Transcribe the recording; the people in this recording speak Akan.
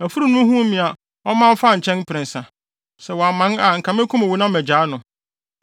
Afurum no huu me a ɔman faa nkyɛn mprɛnsa. Sɛ wamman a, anka mekum wo na magyaa no.”